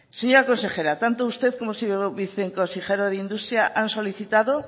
señora consejera tanto usted como el señor viceconsejero de industria han solicitado